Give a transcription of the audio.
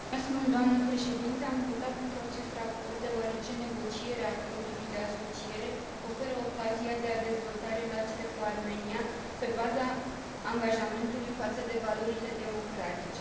Am votat pentru acest raport deoarece negocierea Acordului de asociere oferă ocazia de a dezvolta relațiile cu Armenia pe baza angajamentului față de valorile democratice.